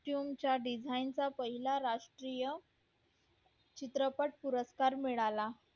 design चा पहिला राष्ट्रीय चित्रपट पुरस्कार मिळाला